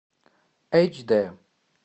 эйч д